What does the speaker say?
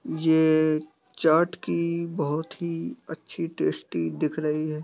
ये चाट की बहुत ही अच्छी टेस्टी दिख रही है।